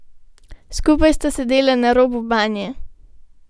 Skupaj sta sedela na robu banje.